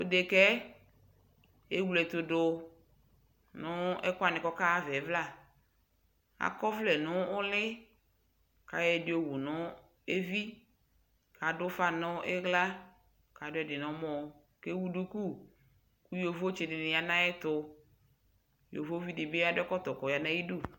tʋ ɛdɛkaɛ ɛwlɛtʋ dʋ nʋ ɛkʋ wani kʋ ɔka ha aɣaɛ ɛvla, akɔ ɔvlɛ nʋ ʋli kʋ ayɔ ɛdi ɔwʋnʋ ɛvi kʋ adʋ ʋƒa nʋ ila kʋ adʋ ɛdi nʋ ɔmɔ kʋ ɛwʋ dʋkʋ kʋ yɔvɔ tsidi yanʋ ayɛtʋ, yɔvɔvi dibi ya kʋ akɔ ɛkɔtɔ nʋ ayidʋ